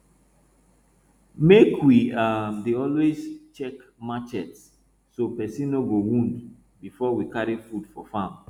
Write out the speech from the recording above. make we um dey always check marchet so person no go wound before we carry food for farm